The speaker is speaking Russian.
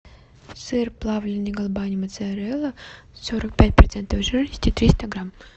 сыр плавленный галбани моцарелла сорок пять процентов жирности триста грам